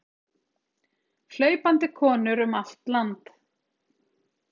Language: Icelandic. Hlaupandi konur um allt land